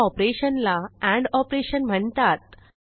ह्या ऑपरेशन ला end operation म्हणतात